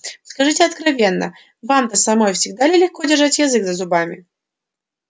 скажите откровенно вам-то самой всегда ли легко держать язык за зубами